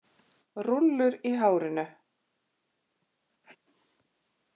Rúllur í hárinu.